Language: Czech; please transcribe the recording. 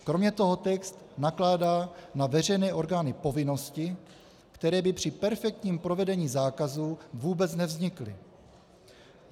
Kromě toho text nakládá na veřejné orgány povinnosti, které by při perfektním provedení zákazu vůbec nevznikly.